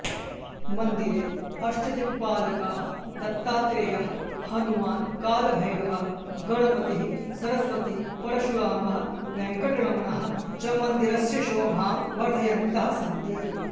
मन्दिरे अष्टदिक्पालकाः दत्तात्रेयः हनुमान् कालभैरवः गणपतिः सरस्वती परशुरामः वेङ्कटरमणः च मन्दिरस्य शोभां वर्धयन्तः सन्ति